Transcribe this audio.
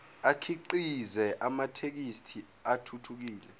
akhiqize amathekisthi athuthukile